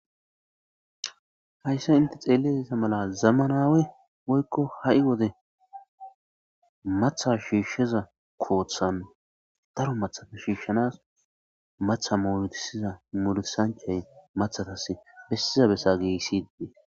hayssa inte xeeletesa mala zamanawe woykko ha7i wode matha shiishsheza kooththan daro mathata shiishshanas matha mooltisiza mulisanchay mathatas bessiza bessa geessidee